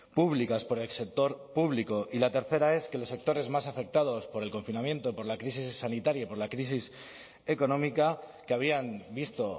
públicas por el sector público y la tercera es que los sectores más afectados por el confinamiento por la crisis sanitaria y por la crisis económica que habían visto